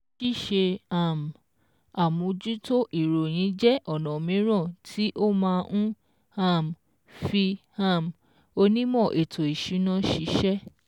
Ṣíṣe um àmójútó ìròyìn jẹ́ ọ̀nà míràn tí ó má ń um fí um onímò ètò ìsúná ṣíṣẹ́